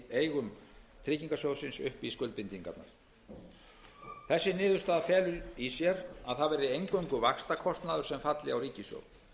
eigum tryggingarsjóðsins upp í skuldbindingarnar þessi niðurstaða felur í sér að það verði eingöngu vaxtakostnaður sem falli á ríkissjóð